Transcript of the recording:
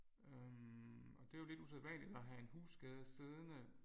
Øh og det er jo lidt usædvanligt at have en husskade siddende